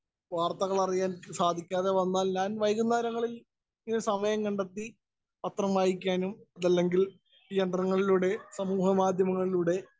speaker 1 വാര്‍ത്തകള്‍ അറിയാന്‍ സാധിക്കാതെ വന്നാല്‍ ഞാന്‍ വൈകുന്നേരങ്ങളില്‍ ഇത് സമയം കണ്ടെത്തി പത്രം വായിക്കാനും, അതല്ലെങ്കില്‍ യന്ത്രങ്ങളിലൂടെ സമൂഹ മാധ്യമങ്ങളിലൂടെ